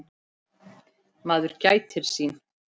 Maður gætir sín.